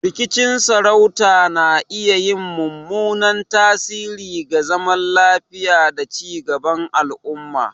Rikicin sarauta na iya yin mummunan tasiri ga zaman lafiya da ci gaban al'umma.